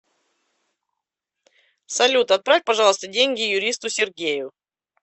салют отправь пожалуйста деньги юристу сергею